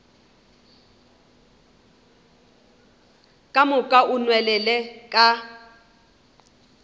ka moka o nwelele ka